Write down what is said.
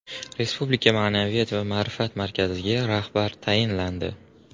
Respublika ma’naviyat va ma’rifat markaziga rahbar tayinlandi.